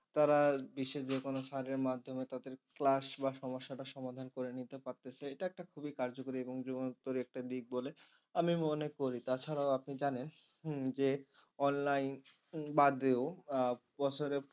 তারা বিশ্বের যে কোন sir এর মাধ্যমে তাদের class বা সমস্যাটা সমাধান করে নিতে পারতেছে একটা খুবই কার্যকরী এবং যুগান্তর একটা দিক বলে আমি মনে করি। তা ছাড়াও আপনি জানেন হম যে online বাদেও আহ বছরে